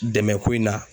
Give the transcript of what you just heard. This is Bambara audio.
Dɛmɛ ko in na